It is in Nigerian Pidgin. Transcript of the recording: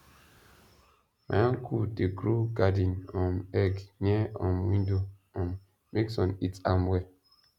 my uncle dey grow garden um egg near um window um make sun hit am well